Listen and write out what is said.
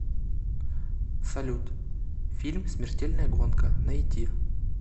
салют фильм смертельная гонка найти